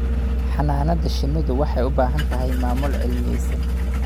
Xannaanada shinnidu waxay u baahan tahay maamul cilmiyaysan.